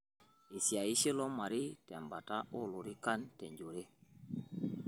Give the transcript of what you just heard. Eisiayishe ilo marei tembata oolorikan te njore